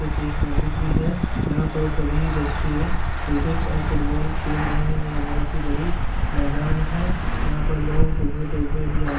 ये तो एक मंदिर भी है यहाँ पर सभी बच्चे क्रिकेट और फुटबॉल खेल रहे हैं और यह बहौत ही बड़ी मैदान है यहां पर लोग घूमने-फिरने भी आ --